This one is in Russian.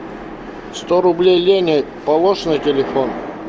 сто рублей лене положь на телефон